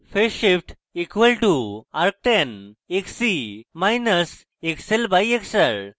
phase shift φ = arctan xc – xl/xr